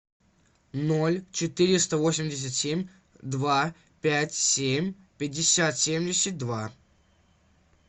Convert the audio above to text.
ноль четыреста восемьдесят семь два пять семь пятьдесят семьдесят два